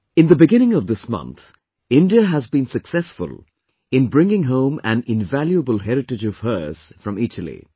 In the beginning of this month, India has been successful in bringing home an invaluable heritage of hers from Italy